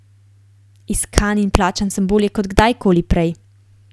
Iskan in plačan sem bolje kod kdajkoli prej.